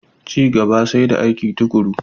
Ci gaba sai da aiki tuƙuru.